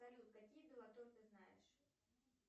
салют какие ты знаешь